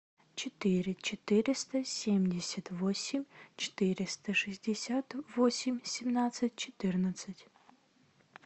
четыре четыреста семьдесят восемь четыреста шестьдесят восемь семнадцать четырнадцать